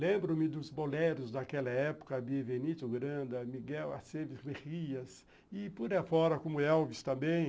Lembro-me dos boleros daquela época, Bivenito Granda, Miguel Aceves Verrias e, por aí fora, como Elvis também.